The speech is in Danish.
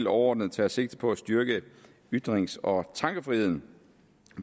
overordnet tager sigte på at styrke ytrings og tankefriheden